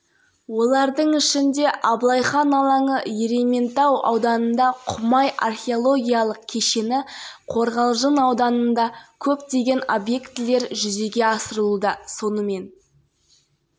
семинар барысында рухани жаңғыру бағдарламасында көрсетілген мәселелерді жер-жерлерде іске асыратындарға ақыл-кеңестер берілді аймақта адамнан тұратын сарапшылар